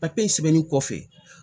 sɛbɛnni kɔfɛ